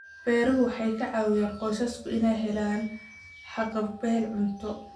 Beeruhu waxay ka caawiyaan qoysaska inay helaan haqab-beel cunto.